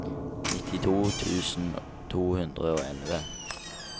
nittito tusen to hundre og elleve